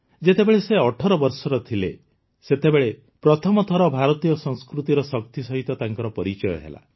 ଯେତେବେଳେ ସେ ୧୮ ବର୍ଷର ଥିଲେ ସେତେବେଳେ ପ୍ରଥମ ଥର ଭାରତୀୟ ସଂସ୍କୃତିର ଶକ୍ତି ସହିତ ତାଙ୍କର ପରିଚୟ ହେଲା